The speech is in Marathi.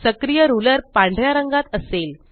सक्रिय रुलर पांढऱ्या रंगात असेल